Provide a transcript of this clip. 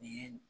N'i ye